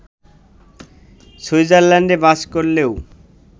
সুইজারল্যান্ডে বাস করলেও